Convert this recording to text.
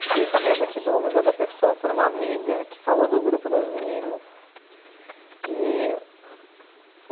Fiquei sabendo aqui do Museu da Pessoa por uma amiga que falou do Grupo das Meninas. E